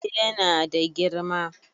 Eh yana da girma